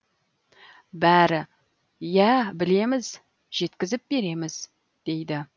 бәрі иә білеміз жеткізіп береміз дейді